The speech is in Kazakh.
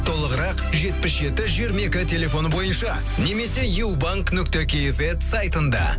толығырақ жетпіс жеті жиырма екі телефоны бойынша немесе ю банк нүкте кизет сайтында